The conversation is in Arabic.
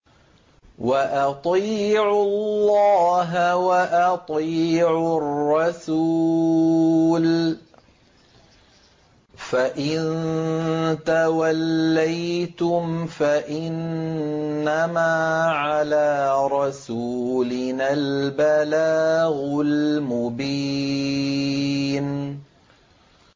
وَأَطِيعُوا اللَّهَ وَأَطِيعُوا الرَّسُولَ ۚ فَإِن تَوَلَّيْتُمْ فَإِنَّمَا عَلَىٰ رَسُولِنَا الْبَلَاغُ الْمُبِينُ